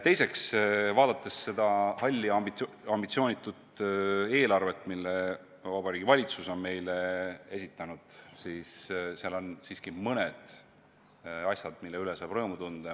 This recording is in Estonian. Teiseks, vaadates seda halli ambitsioonitut eelarvet, mille Vabariigi Valitsus on meile esitanud, näeme seal siiski ka asju, mille üle saab rõõmu tunda.